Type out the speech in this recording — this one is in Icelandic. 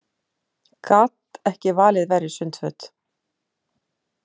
Gat ekki valið verri sundföt